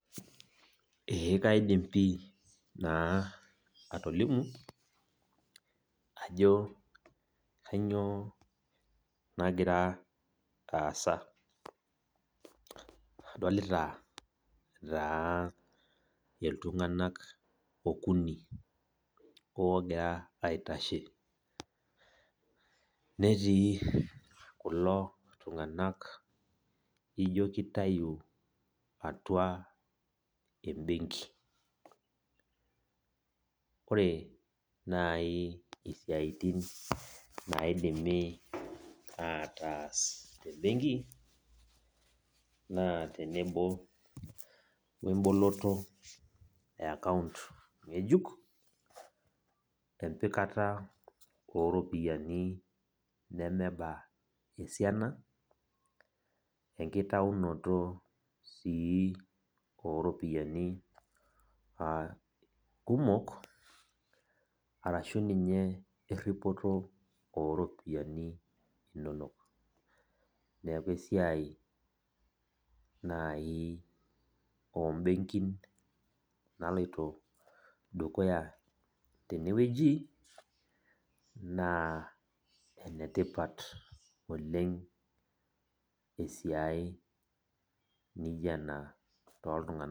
Ee kaidim pi naa atolimu, ajo kanyioo nagira aasa. Adolita taa iltung'anak okuni ogira aitashe. Netii kulo tung'anak ijo kitayu atua ebenki. Ore nai isiaitin naidimi ataas tebenki, naa tenebo weboloto ekaunt ng'ejuk, empikata oropiyiani nemeba esiana, enkitaunoto si oropiyiani kumok, arashu ninye erripoto oropiyiani inonok. Neeku esiai nai obenkin naloito dukuya tenewueji, naa enetipat oleng esiai nijo ena toltung'anak.